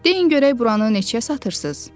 “Deyin görək buranı neçəyə satırsız?”